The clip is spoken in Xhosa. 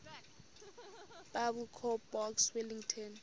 biblecor box wellington